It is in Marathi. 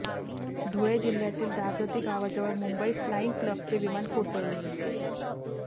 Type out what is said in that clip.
धुळे जिल्ह्यातील दार्तती गावाजवळ मुंबई फ्लाईंग क्लबचे विमान कोसळले